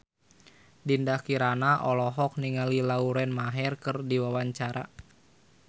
Dinda Kirana olohok ningali Lauren Maher keur diwawancara